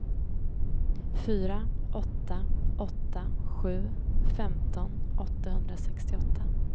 fyra åtta åtta sju femton åttahundrasextioåtta